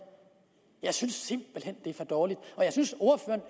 jeg synes simpelt hen det er for dårligt og jeg synes